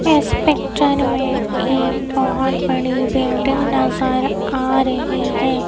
इस पिक्चर में एक बहोत बड़ी बिल्डिंग नजर आ रही है।